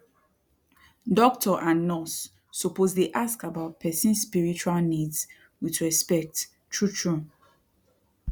doctor and nurse suppose dey ask about person spiritual needs wit respect trutru